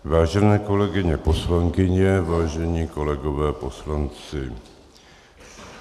Vážené kolegyně poslankyně, vážení kolegové poslanci.